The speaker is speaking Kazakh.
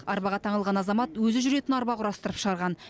арбаға таңылған азамат өзі жүретін арба құрастырып шығарған